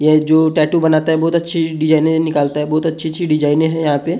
यह जो टैटू बनाता है बहुत अच्छी डिजाइने निकालता है बहुत अच्छी डिजाइने है यहाँ पे काफी--